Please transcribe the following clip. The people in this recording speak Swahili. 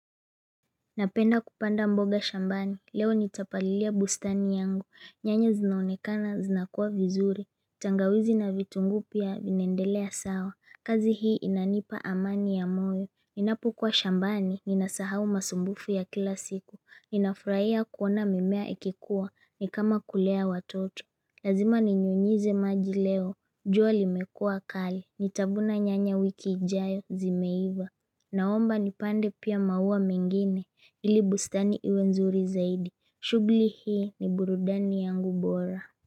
Napenda kupanda mboga shambani, leo nitapalilia bustani yangu, nyanya zinaonekana, zinakuwa vizuri tangawizi na vitunguu pia vinaendelea sawa, kazi hii inanipa amani ya moyo Ninapo kuwa shambani, ninasahau masumbufu ya kila siku, ninafurahia kuona mimea ikikuwa, nikama kulea watoto Lazima ninyunyize maji leo, jua limekua kali, nitavuna nyanya wiki ijayo zimeiva Naomba nipande pia maua mengine ili bustani iwe nzuri zaidi. Shughli hii ni burudani yangu bora.